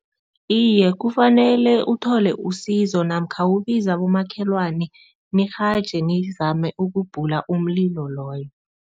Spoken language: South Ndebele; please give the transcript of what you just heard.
Iye, kufanele uthole usizo namkha kubiza abomakhelwane nirhaje nizame ukubhula umlilo loyo.